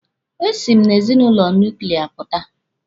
E si m n'ezinụlọ nuklia pụta.